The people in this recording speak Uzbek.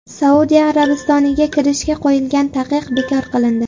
Saudiya Arabistoniga kirishga qo‘yilgan taqiq bekor qilindi.